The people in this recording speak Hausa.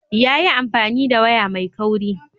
Yayi amfani da waya ma kauri.